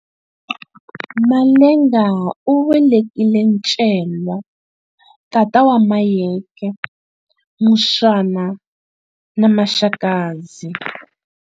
Malenga u velekile Ncelwa tata wa Mayeke, Muswana na Maxakadzi.